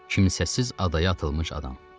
Kimsəsiz adaya atılmış adam.